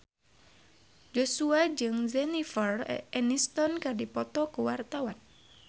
Joshua jeung Jennifer Aniston keur dipoto ku wartawan